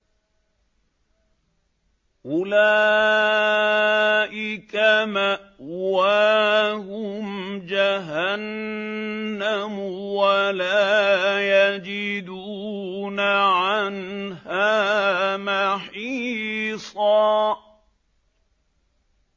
أُولَٰئِكَ مَأْوَاهُمْ جَهَنَّمُ وَلَا يَجِدُونَ عَنْهَا مَحِيصًا